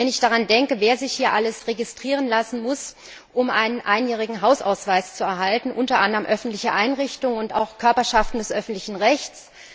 Ich finde es bedauerlich, wer sich alles registrieren lassen muss, um einen einjährigen Hausausweis zu erhalten unter anderem öffentliche Einrichtungen und auch Körperschaften des öffentlichen Rechts.